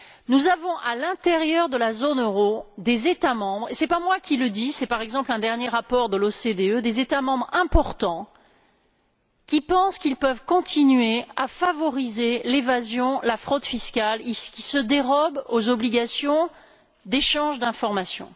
Nous avons à l'intérieur de la zone euro et ce n'est pas moi qui le dis, c'est, par exemple, un récent rapport de l'OCDE des États membres importants qui pensent qu'ils peuvent continuer à favoriser l'évasion et la fraude fiscales, et qui se dérobent aux obligations d'échange d'informations.